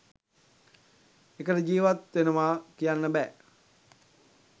එකට ජීවත් වෙනවා කියන්න බෑ.